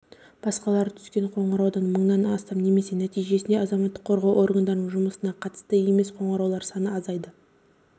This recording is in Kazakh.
басқалары түскен қоңыраулардан мыңнан астам немесе нәтижесінде азаматтық қорғау органдарының жұмыстарына қатысты емес қоңыраулар саны азайды